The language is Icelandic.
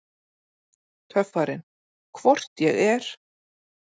Töffarinn: Hvort ég er!